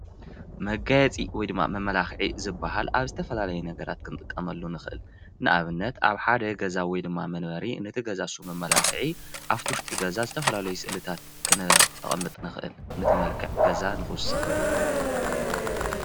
መጋየፂ ወይ መመለካዒ ዝበሃሉ ነገራት ኣብ ዝተፈላለዩ ነገራት ክንጥቀመሉ ንክእል። ንኣብነት፦ ኣብ ሓደ ገዛ ወይ ከኣ መንበሪ ነቲ ገዛ ንሱ መመላክዒ ኣብቲ ውሽጢ ገዛ ዝተፈላለዩ ስእልታት ክነቅምጥ ንክእል። ነቲ መልክዕ ገዛ ንክውስክ።